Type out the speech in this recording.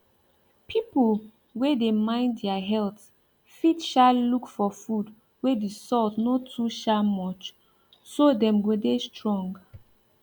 people wey dey mind their health fit um look for food wey the salt no too um much so dem go dey strong